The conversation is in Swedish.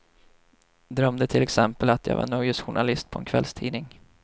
Drömde till exempel att jag var nöjesjournalist på en kvällstidning.